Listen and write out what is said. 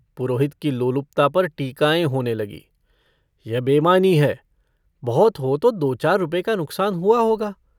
पुरोहित की लोलुपता पर टीकाएँ होने लगीं - यह बेईमानी है बहुत हो तो दो-चार रुपए का नुकसान हुआ होगा।